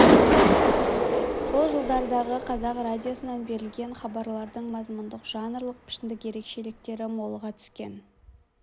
сол жылдардағы қазақ радиосынан берілген хабарлардың мазмұндық жанрлық пішіндік ерекшеліктері молыға түскен